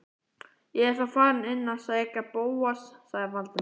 Ég er þá farinn inn að sækja Bóas- sagði Valdimar.